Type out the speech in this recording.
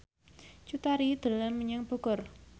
Cut Tari dolan menyang Bogor